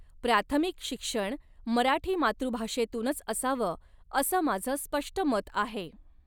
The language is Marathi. प्राथमिक शिक्षण 'मराठी' मातृभाषेतूनच असाव असं माझ स्पष्ट मत आहे.